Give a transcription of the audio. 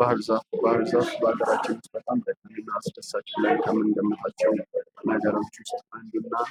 ባህር ዛፍ በሀገራችን በጣም አስደሳች እፅዋት ውስጥ አንዱ ነው